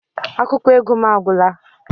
Akwụkwọ ego m agwụla